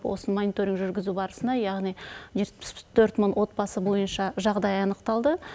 осыны мониторинг жүргізу барысында яғни жетпіс төрт мың отбасы бойынша жағдайы анықталды